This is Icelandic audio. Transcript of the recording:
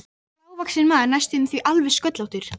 Hann var lágvaxinn maður næstum því alveg sköllóttur.